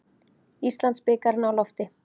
Íslandsbikarinn á lofti